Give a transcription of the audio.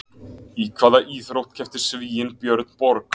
Í hvaða íþrótt keppti Svíinn Björn Borg?